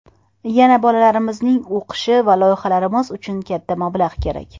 Yana bolalarimizning o‘qishi va loyihalarimiz uchun katta mablag‘ kerak.